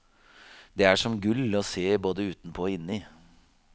Det er som gull å se både utenpå og inni.